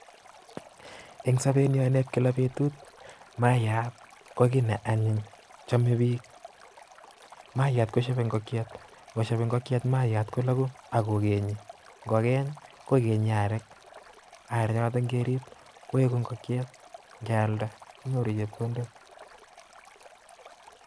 Eng sobini en kila betut mayast ko kiit nee anyiny chomee biik, mayaat kosiebe ng'okiet, ko ng'osieb ing'okiet maiyat koloku ak kokenye, ng'oken kokenye arek, arek choton ng'erib koiku ing'okiet kealda inyoru chepkondok.